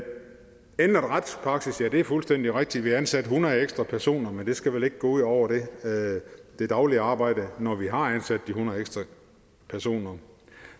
ændret retspraksis ja det er fuldstændig rigtigt vi ansatte hundrede ekstra personer men det skal vel ikke gå ud over det daglige arbejde når vi har ansat de hundrede ekstra personer